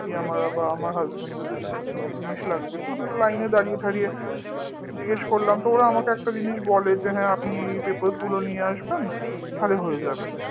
কি আমার আবার আমার husband এর দুজনের কি কি জিনিস লাগবে line এ দাঁড়িয়ে দাঁড়িয়ে জিজ্ঞেস করলাম তো ওরা একটা জিনিস আমাকে বলে যে হ্যাঁ আপনি এই papers গুলো নিয়ে আসবেন তাহলে হয়ে যাবে